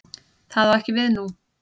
Það á ekki við nú.